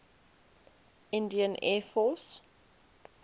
indian air force